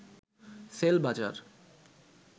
CellBazaar